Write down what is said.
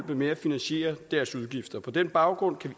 ved at finansiere deres udgifter på den baggrund kan